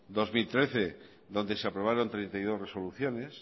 dos mil trece donde se aprobaron treinta y dos resoluciones